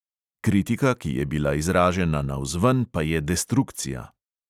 Kritika, ki je bila izražena navzven, pa je destrukcija.